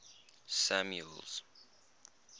samuel's